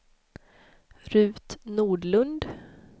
Ruth Nordlund